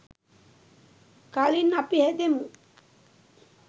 කලින් අපි හැදෙමු.